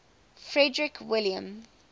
frederick william